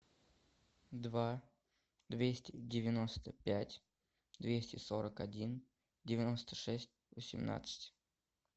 два двести девяносто пять двести сорок один девяносто шесть восемнадцать